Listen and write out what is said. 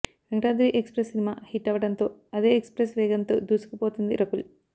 Venkatadri Express cinema hit అవ్వడంతో అదే express వేగంతో దూసుకుపోతోంది రకుల్